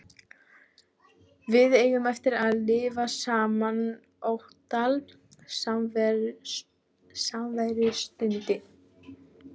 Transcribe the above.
Við eigum eftir að lifa saman ótal samverustundir.